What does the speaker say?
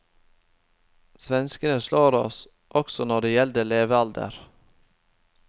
Svenskene slår oss også når det gjelder levealder.